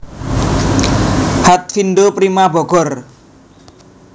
Hatfindo Prima Bogor